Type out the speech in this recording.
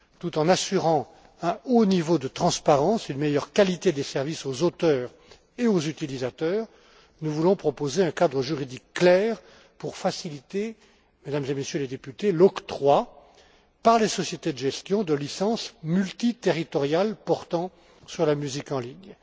Tout en assurant un haut niveau de transparence et une meilleure qualité des services aux auteurs et aux utilisateurs, nous voulons proposer un cadre juridique clair, Mesdames et Messieurs les députés, pour faciliter l'octroi, par les sociétés de gestion, de licences multiterritoriales portant sur la musique en ligne.